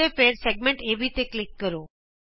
ਅਤੇ ਫਿਰ ਵ੍ਰਤ ਖੰਡ ਏਬੀ ਤੇ ਕਲਿਕ ਕਰੋ